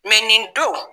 nin don